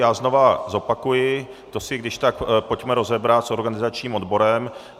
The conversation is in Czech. Já znovu zopakuji, to si když tak pojďme rozebrat s organizačním odborem.